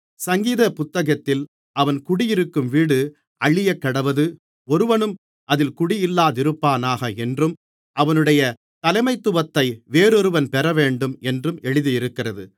சங்கீத புத்தகத்திலே அவன் குடியிருக்கும் வீடு அழியக்கடவது ஒருவனும் அதில் குடியில்லாதிருப்பானாக என்றும் அவனுடைய தலைமைத்துவத்தை வேறொருவன் பெறவேண்டும் என்றும் எழுதியிருக்கிறது